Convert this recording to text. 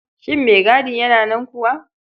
Shin maigadi yana nan kuwa?